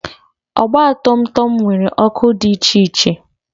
ọgba tum tum nwere ọkụ dị iche iche